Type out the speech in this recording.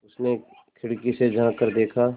उसने खिड़की से झाँक कर देखा